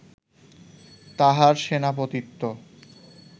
তাঁহার সেনাপতিত্ব